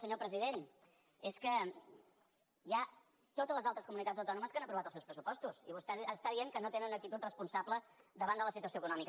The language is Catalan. senyor president és que hi ha totes les altres comunitats autònomes que han aprovat els seus pressupostos i vostè està dient que no tenen una actitud responsable davant de la situació econòmica